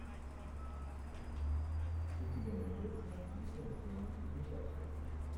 у тебя найдется японская мультипликация